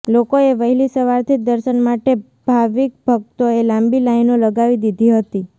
લોકોએ વહેલી સવારથી જ દર્શન માટે ભાવિકભકતોએ લાંબી લાઇનો લગાવી દીધી હતી